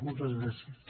moltes gràcies